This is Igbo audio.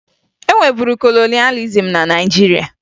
E nweburu kolonịalịzim na Naịjirịa